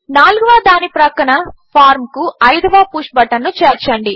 నాల్గవదాని పక్కన ఫార్మ్ కు అయిదవ పుష్ బటన్ చేర్చండి